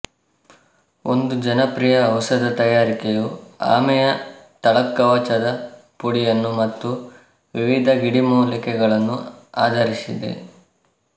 ಒಂದು ಜನಪ್ರಿಯ ಔಷಧ ತಯಾರಿಕೆಯು ಆಮೆಯ ತಳಕವಚದ ಪುಡಿಯನ್ನುಮತ್ತು ವಿವಿಧ ಗಿಡಮೂಲಿಕೆಗಳನ್ನು ಆಧರಿಸಿದೆ